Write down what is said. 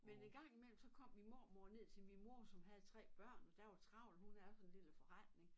Men en gang i mellem så kom min mormor ned til min mor som havde 3 børn og der var travlt hun havde sådan en lille forretning